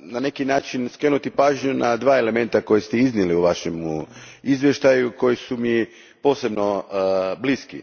na neki način skrenuti pažnju na dva elementa koja ste iznijeli u vašem izvještaju, a koji su mi posebno bliski.